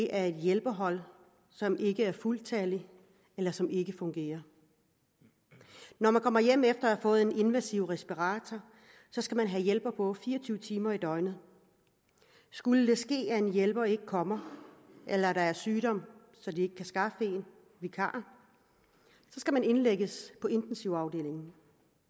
er et hjælpehold som ikke er fuldtalligt eller som ikke fungerer når man kommer hjem efter at have fået en invasiv respirator skal man have hjælper på fire og tyve timer i døgnet skulle det ske at en hjælper ikke kommer eller at der er sygdom så de ikke kan skaffe en vikar skal man indlægges på intensivafdelingen